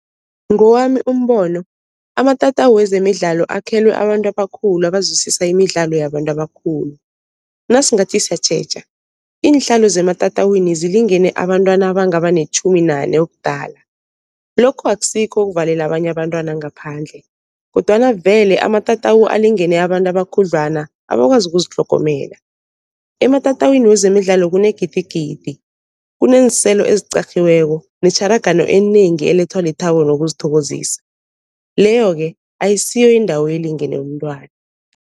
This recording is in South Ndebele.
Ngewami umbono amatatawu wezemidlalo akhelwe abantu abakhulu abazwisisa imidlalo yabantu abakhulu. Nasingathi siyatjheja iinhlalo zematatawini zilingene abantwana abangaba netjhumi nane ubudala, lokho akusikho ukuvalela abanye abantwana ngaphandle kodwana vele amatatawu alingene abantu abakhudlwana abakwazi ukuzitlhogomela. Ematatawini wezemidlalo kunegidigidi, kuneenselo eziqarhiweko netjharagano enengi elethwa lithabo nokuzithokozisa, leyo-ke ayisiyo indawo elingene umntwana.